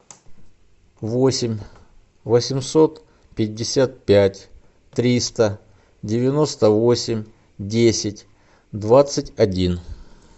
восемь восемьсот пятьдесят пять триста девяносто восемь десять двадцать один